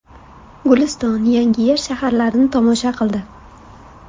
Guliston, Yangiyer shaharlarini tomosha qildi.